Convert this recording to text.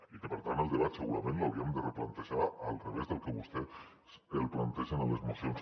i per tant el debat segurament l’hauríem de replantejar al revés del que vostè el planteja en les mocions